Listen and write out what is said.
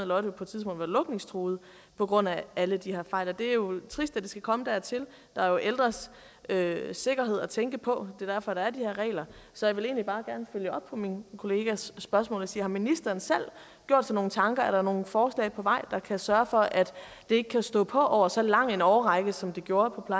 lotte på et tidspunkt var lukningstruet på grund af alle de her fejl det er jo trist at det skal komme dertil der er ældres sikkerhed at tænke på er derfor der er de her regler så jeg vil egentlig bare følge op på min kollegas spørgsmål og sige har ministeren gjort sig nogle tanker er der nogle forslag på vej der kan sørge for at det ikke kan stå på over så lang en årrække som det gjorde på